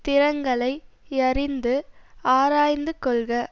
திறங்களை யறிந்து ஆராய்ந்து கொள்க